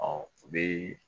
Ɔ u bɛ